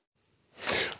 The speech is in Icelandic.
og